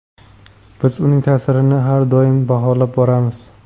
Biz uning ta’sirlarini har doim baholab boramiz.